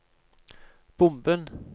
bomben